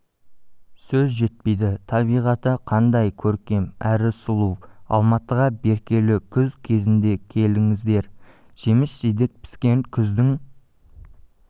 сөз жетпейді табиғаты қандай көркем әрі сұлу алматыға берекелі күз кезінде келдіңіздер жеміс-жидек піскен күздің